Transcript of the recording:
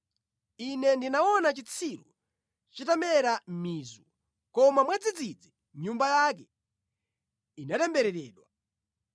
Ine ndinaona chitsiru chitamera mizu, koma mwadzidzidzi nyumba yake inatembereredwa.